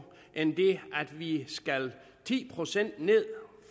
end det at vi skal ti procent ned